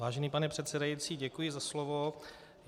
Vážený pane předsedající, děkuji za slovo.